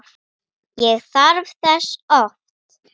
Ég þarf þess oft.